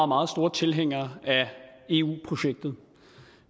meget store tilhængere af eu projektet